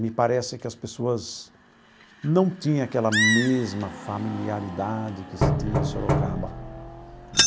Me parece que as pessoas não tinha aquela mesma familiaridade que se tinha em Sorocaba.